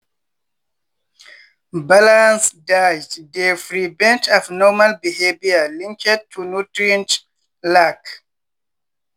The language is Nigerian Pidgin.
balanced diet dey prevent abnormal behavior linked to nutrient lack.